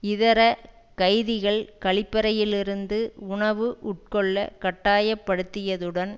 இதர கைதிகள் கழிப்பறையிலிருந்து உணவு உட்கொள்ள கட்டாயப்படுத்தியதுடன்